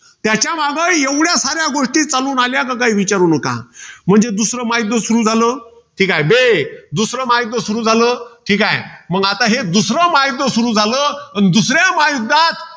त्याच्यामागं एवढ्यासाऱ्या गोष्टी चालून आल्या कि काही विचारू नका. म्हणजे दुसरं महायुध्द सुरु झालं. ठीकाये. अय, दुसरं महायुध्द सुरु झालं. ठीकाय. मग हे दुसरं महायुध्द सुरु झालं, अन दुसऱ्या महायुद्धात